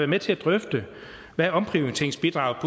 med til at drøfte hvad omprioriteringsbidraget